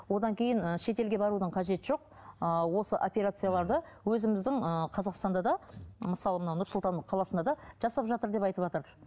одан кейін ы шетелге барудың қажеті жоқ ы осы операцияларды өзіміздің ыыы қазақстанда да мысалы мына нұр сұлтан қаласында да жасап жатыр деп айтыватыр